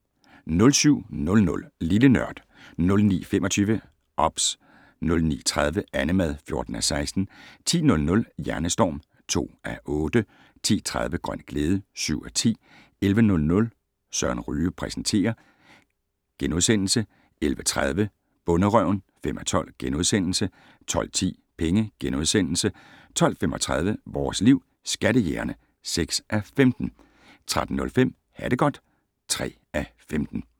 07:00: Lille Nørd 09:25: OBS 09:30: Annemad (14:16) 10:00: Hjernestorm (2:8) 10:30: Grøn glæde (7:10) 11:00: Søren Ryge præsenterer * 11:30: Bonderøven (5:12)* 12:10: Penge * 12:35: Vores Liv: Skattejægerne (6:15) 13:05: Ha det godt (3:15)